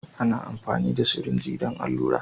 Ana amfani da sirinji don allura.